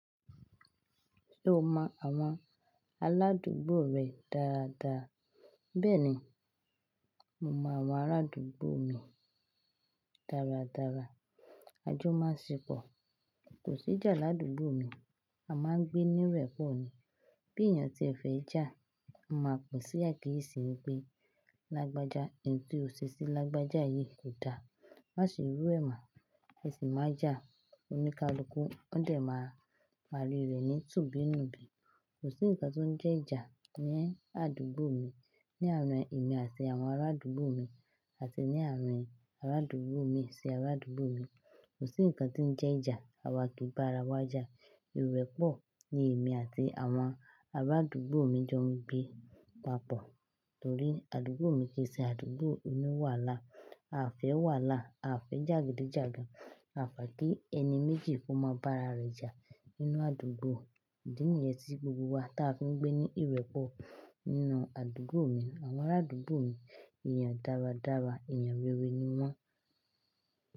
Ṣé o mọ àwọn aládùúgbò rẹ dáadáa? Bẹ́ẹ̀ni, mo mọ àwọn arádùúgbò mi dáradára. A jọ máa n ṣe pọ Kò sí ìjà ládùúgbò mi, a máa ń gbé ní ìrẹ́pọ̀ ni. Bí èèyàn ti fẹ́ ja, mo máa pè si akiyesì ńi pe lágbájá. In tí ò ṣe sí lágbájá yìí kò dáa. Má ṣe rú ẹ mọ ẹ sì má ja. Òni kálùkù, ó dẹ̀ máa parí rẹ̀ ní tùúbínùbí. Kò sí ǹkan tó ń jẹ́ ìjà ní àdúgbò mi, ní àárín èmi àti àwọn arádùúgbò mi àti ní àárín arádùúgbò mi sí arádùúgbò mi. Kò sí ǹkan tí ń jẹ́ ìjà, àwa ki ba ara wa jà. Ìrẹ́pọ̀ ni èmi àti àwọn arádùúgbò mi jọ ń gbé papọ̀. Torí àdúgbò mi kì í ṣe àdúgbò oni wàhàlà, àfẹ́ wàhàlà, àfẹ́ jagidijagan A fẹ́ kí ẹni méjì kó máa bá ara rẹ̀ jà nínú àdúgbò. Ìdí nìyẹn tí gbogbo wa ta fi ń gbé ní ìrẹ́pọ̀ nínú àdúgbò mi. Àwọn arádùúgbò mi èèyàn dáradára, èèyàn rere ni wọ́n.